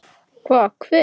Hvað, hver?